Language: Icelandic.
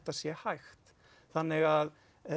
sé hægt þannig að